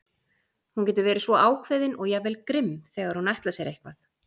Hún getur verið svo ákveðin og jafnvel grimm þegar hún ætlar sér eitthvað.